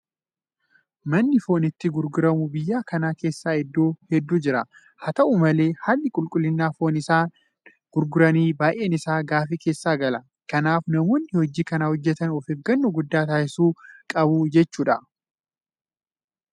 Manni foon itti gurguramu biyya kana keessa iddoo hedduu jira. Haa ta'u malee haalli qulqullina foon isaan gurguranii baay'een isaa gaaffii keessa gala. Kanaaf namoonni hojii kana hojjetan ofeeggannoo guddaa taasisuu qabu jechuudha.